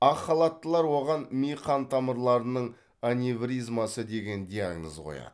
ақ халаттылар оған ми қан тамырларының аневризмасы деген диагноз қояды